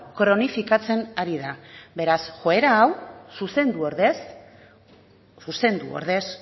kronifikatzen ari da beraz joera hau zuzendu ordez